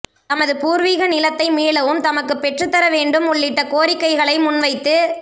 தமது பூர்வீக நிலத்தை மீளவும் தமக்கு பெற்றுத்தரவேண்டும் உள்ளிட்ட கோரிக்கைகளை முன்வைத்து